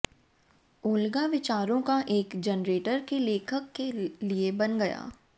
Olga विचारों का एक जनरेटर के लेखक के लिए बन गया